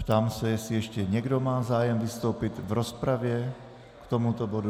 Ptám se, jestli ještě někdo má zájem vystoupit v rozpravě k tomuto bodu.